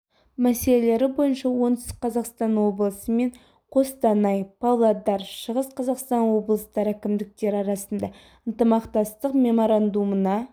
мәселелері бойынша оңтүстік қазақстан облысы мен қостанай павлодар шығыс қазақстан облыстары әкімдіктері арасында ынтымақтастық меморандумына